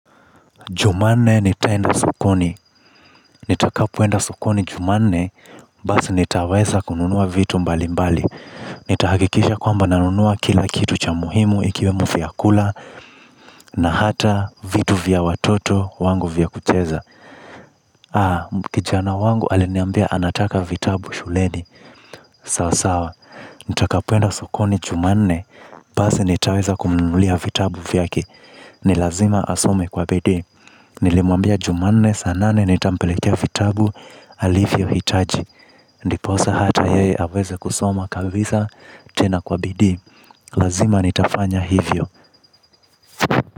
Jumanne nitaenda sokoni, nitakapoenda sokoni jumanne, basi nitaweza kununua vitu mbali mbali. Nita hakikisha kwamba na nunua kila kitu cha muhimu ikiwemo vyakula na hata vitu vya watoto wangu vyakucheza, kijana wangu aliniambia anataka vitabu shuleni. Sawa, sawa, nitakapoenda sokoni jumanne, basi nitaweza kumnunulia vitabu vyake. Ni lazima asome kwa bidii. Nilimwambia jumanne saa nane nitampelekea vitabu alivyohitaji. Ndiposa hata yeye aweze kusoma kabisa tena kwa bidii. Lazima nitafanya hivyo.